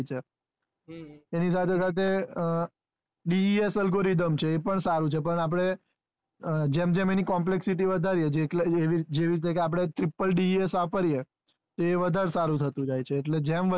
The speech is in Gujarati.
એની સાથે સાથે desalgoridhem છે એ પણ સારો છે પણ આપણે આ જેમ જેમ એની complexity વધારે જેટલે એવું આપડે TRIPPLEdes વાપરીએ એ વધારે સારું થતું જાય છે એટલે જેમ